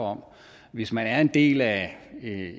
om hvis man er en del af